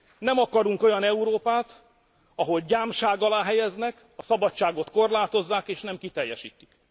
Nem akarunk olyan Európát, ahol gyámság alá helyeznek, a szabadságot korlátozzák, és nem kiteljesítik!